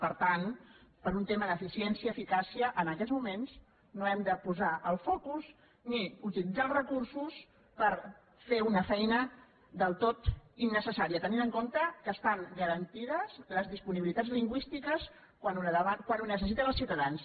per tant per un tema d’eficiència eficàcia en aquests moments no hem de posar el focus ni utilitzar els recursos per fer una feina del tot innecessària tenint en compte que estan garantides les disponibilitats lingüístiques quan ho necessiten els ciutadans